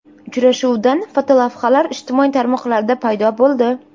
Uchrashuvdan fotolavhalar ijtimoiy tarmoqlarda paydo bo‘ldi.